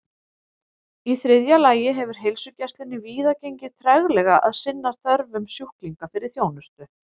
Í þriðja lagi hefur heilsugæslunni víða gengið treglega að sinna þörfum sjúklinga fyrir þjónustu.